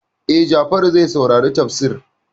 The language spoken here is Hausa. E, Jafaru zai saurari tafsiri.